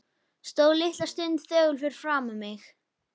Stóð litla stund þögull fyrir framan mig.